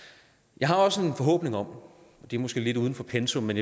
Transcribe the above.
jeg har også en forhåbning om det er måske lidt uden for pensum men